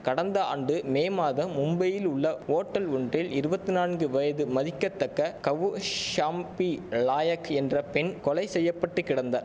கடந்த ஆண்டு மே மாதம் மும்பையில் உள்ள ஓட்டல் ஒன்றில் இருவத்திநான்கு வயது மதிக்கத்தக்க கவுஷாம்பி லாயக் என்ற பெண் கொலை செய்ய பட்டு கிடந்தா